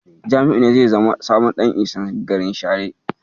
Jami'u ne zai zama sabon Ɗan Isan garin Share.